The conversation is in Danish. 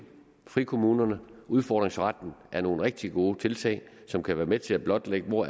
frikommunerne og udfordringsretten er nogle rigtig gode tiltag som kan være med til at blotlægge hvor